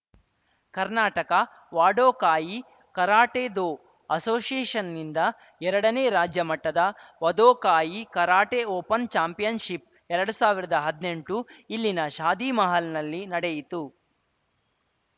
Karnataka Wado Kai karate do ಅಸೋಶಿಯೇಷನ್‌ನಿಂದ ಎರಡನೇ ರಾಜ್ಯ ಮಟ್ಟದ ವದೋಕಾಯಿ ಕರಾಟೆ ಓಪನ್‌ ಚಾಂಪಿಯನ್‌ಶಿಪ್‌ಎರಡು ಸಾವಿರದ ಹದಿನೆಂಟು ಇಲ್ಲಿನ ಶಾದಿಮಹಲ್‌ನಲ್ಲಿ ನಡೆಯಿತು